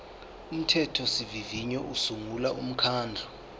umthethosivivinyo usungula umkhandlu